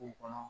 kɔnɔ